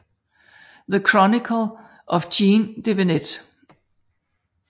The Chronicle of Jean de Venette